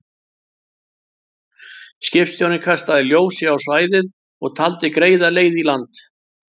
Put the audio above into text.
Skipstjórinn kastaði ljósi á svæðið og taldi greiða leið í land.